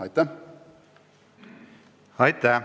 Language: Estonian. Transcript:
Aitäh!